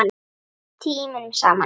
Oft tímunum saman.